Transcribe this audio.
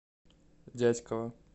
дятьково